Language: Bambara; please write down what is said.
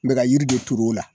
N bɛka ka jiri de tueu o la.